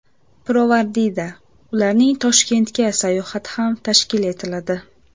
Pirovardida, ularning Toshkentga sayohati ham tashkil etiladi.